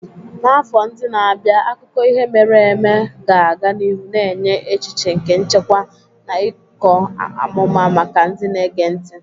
N'afọ ndị na-abịa, akụkọ ihe mere eme ga-aga n'ihu na-enye echiche nke nchekwa na ịkọ amụma maka ndị na-ege ntị.